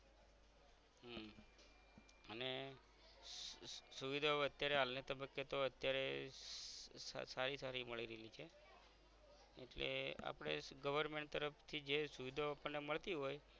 હમ અને સુવિધાઓ અત્યારે હાલ ને તબ્બકે તો અત્યારે સારી સારી મળી રાઈલી છે એટલે આપણે government તરફથી જે સુવિધાઓ આપણ ને મળતી હોય